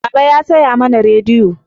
Baba ya saya mana rediyo